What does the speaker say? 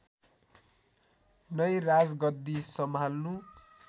नै राजगद्दी सम्हाल्नु